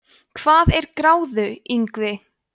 hvað er gráðuingvi